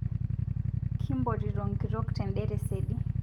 Kimpotito nkitok tende tesedi